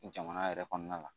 Jamana yɛrɛ kɔnɔna la